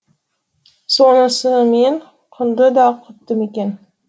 сонысымен құнды да құтты мекен